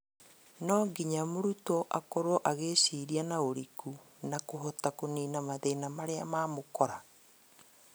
No nginya mũrutwo akorwo agĩciria no ũrikĩru na kũhota kũnina mathĩna marĩa mamũkora